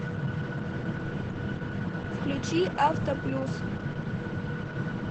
включи авто плюс